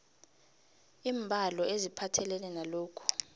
iimbalo eziphathelene nalokhu